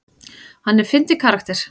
Hann er fyndinn karakter.